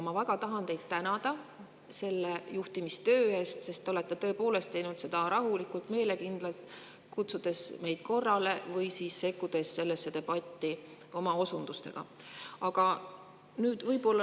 Ma tahan teid väga tänada eest, et te olete seda teinud rahulikult ja meelekindlalt, kutsudes meid korrale või sekkudes debatti oma osundustega.